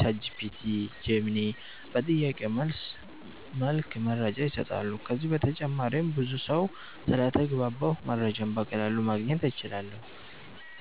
(ChatGPT, Gemini) በጥያቄ መልስ መልክ መረጃ ይሰጣሉ። ከዚህ በተጨማሪም ብዙ ሰው ስለተግባባሁ መረጃን በቀላሉ ማግኘት እችላለሁ